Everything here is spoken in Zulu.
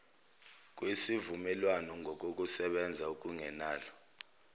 kwesivumelwano ngokokusebenza okungenalo